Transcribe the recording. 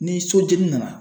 Ni sojɛnni nana